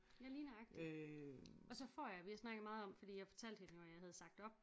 Ja lige nøjagtig og så får jeg vi har snakket meget om fordi jeg fortalte hende jo at jeg havde sagt op